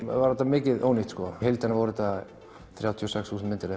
var þetta mikið ónýtt í heildina voru þrjátíu og sex þúsund myndir